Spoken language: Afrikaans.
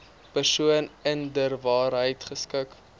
persoon inderwaarheid geskik